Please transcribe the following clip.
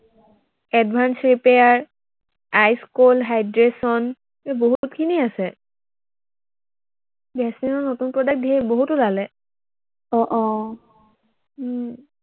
advances repair, ice cool hydration এৰ বহুতখিনি আছে। ভেচলিনৰ নতুন product ঢেৰ বহুত ওলালে। আহ আহ উম